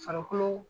Farikolo